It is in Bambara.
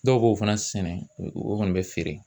Dɔw b'o fana sɛnɛ o nɔn bɛɛ fɛ.